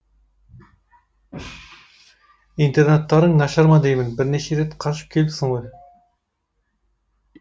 интернаттарың нашар ма деймін бірнеше рет қашып келіпсің ғой